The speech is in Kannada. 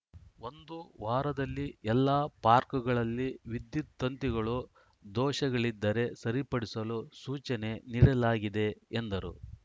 ಒಂದು ವಾರದಲ್ಲಿ ಎಲ್ಲ ಪಾರ್ಕ್ಗಳಲ್ಲಿ ವಿದ್ಯುತ್‌ ತಂತಿಗಳು ದೋಷಗಳಿದ್ದರೆ ಸರಿಪಡಿಸಲು ಸೂಚನೆ ನೀಡಲಾಗಿದೆ ಎಂದರು